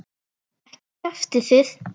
Ekki kjaftið þið.